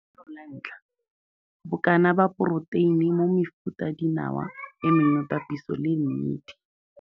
Lenaneo la 1. Bokana ba poroteine mo mefutadinawa e mengwe papiso le mmidi.